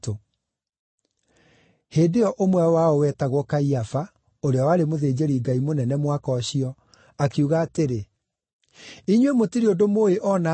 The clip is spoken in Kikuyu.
Hĩndĩ ĩyo ũmwe wao wetagwo Kaiafa, ũrĩa warĩ mũthĩnjĩri-Ngai mũnene mwaka ũcio, akiuga atĩrĩ, “Inyuĩ mũtirĩ ũndũ mũũĩ o na atĩa!